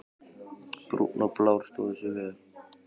Brúnn og Blár stóðu sig vel.